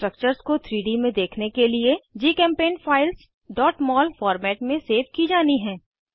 structures को 3डी में देखने के लिए जीचेम्पेंट फाइल्स mol फॉर्मेट में सेव की जानी हैं